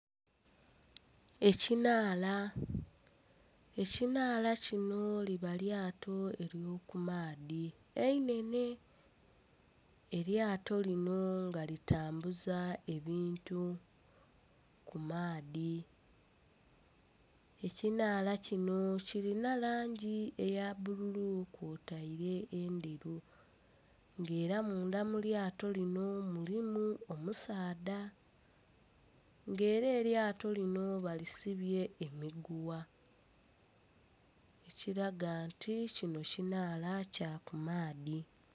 Ekinhaala, ekinhaala kino liba lyato ery'okumaadhi einhenhe, elyato lino nga litambuza ebintu ku maadhi. Ekinhaala kino kilina langi eya bbululu kwotaire endheru nga era munda mu lyato lino mulimu omusaadha nga era elyato lino balisibye emigugha ekiraga nti kino kinhaala kya kumaadhi.